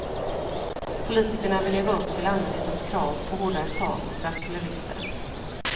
Politikerna vill leva upp till allmänhetens krav på hårdare tag mot rattfyllerister.